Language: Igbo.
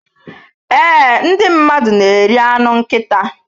Ee, Ndị mmadụ na-eri anụ nkịta